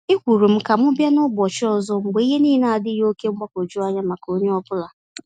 Ekwuru m ka m bịa n’ụbọchị ọzọ mgbe ihe niile adịghị oke mgbagwoju anya maka onye ọ bụla.